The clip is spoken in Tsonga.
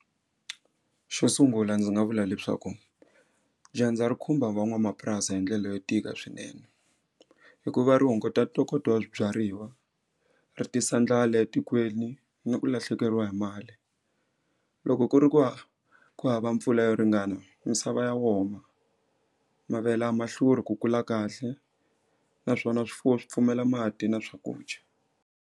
Xo sungula ndzi nga vula leswaku dyandza ri khumba van'wamapurasi hi ndlela yo tika swinene hikuva ri hunguta ntokoto wa swibyariwa ri tisa ndlala etikweni na ku lahlekeriwa hi mali loko ku ri ku va ku hava mpfula yo ringana misava ya wona mavele a ma hluri ku kula kahle naswona swifuwo swi pfumela mati na swakudya.